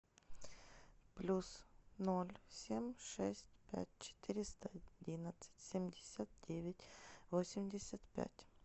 плюс ноль семь шесть пять четыреста одинадцать семьдесят девять восемьдесят пять